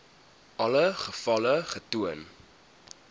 alle gevalle getoon